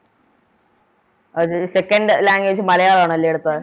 ഈ Second language മലയാളാണല്ലേ എടുത്തെ